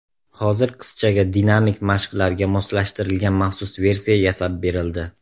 Hozir qizchaga dinamik mashqlarga moslashtirilgan maxsus versiya yasab berildi.